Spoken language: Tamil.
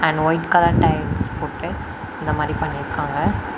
ஒயிட் கலர் டைல்ஸ் போட்டு இந்த மாரி பண்ணிருக்காங்க.